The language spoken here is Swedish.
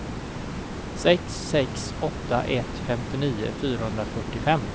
sex sex åtta ett femtionio fyrahundrafyrtiofem